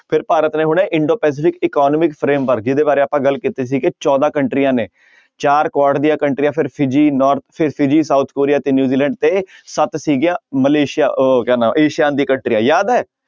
ਫਿਰ ਭਾਰਤ ਨੇ ਹੁਣੇ ਇੰਡੋ ਪੈਸਿਫਿਕ economic frame ਜਿਹਦੇ ਬਾਰੇ ਆਪਾਂ ਗੱਲ ਕੀਤੀ ਸੀ ਕਿ ਚੌਦਾਂ ਕੰਟਰੀਆਂ ਨੇ ਚਾਰ ਕੁਆਡ ਦੀਆਂ ਕੰਟਰੀਆਂ ਸਾਊਥ ਕੋਰੀਆ ਤੇ ਨਿਊਜੀਲੈਂਡ ਤੇ ਸੱਤ ਸੀਗੀਆਂ ਮਲੇਸੀਆ ਉਹ ਹੋ ਗਿਆ ਨਾ ਏਸੀਆਨ ਦੀ ਕੰਟਰੀਆਂ ਯਾਦ ਹੈ।